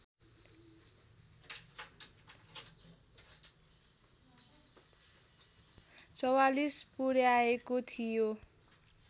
४४ पुर्‍याएको थियो